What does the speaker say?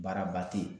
Baaraba te ye